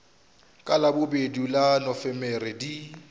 ka labobedi la nofemere di